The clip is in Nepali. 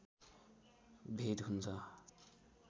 भेद हुन्छ